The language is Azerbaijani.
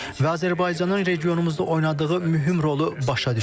Və Azərbaycanın regionumuzda oynadığı mühüm rolu başa düşürük.